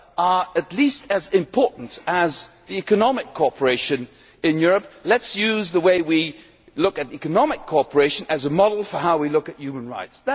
are at least as important as economic cooperation in Europe, let us use the way we look at economic cooperation as a model for how we look at human rights.